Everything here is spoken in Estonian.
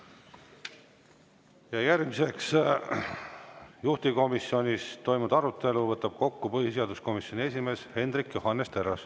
Järgmiseks võtab juhtivkomisjonis toimunud arutelu kokku põhiseaduskomisjoni esimees Hendrik Johannes Terras.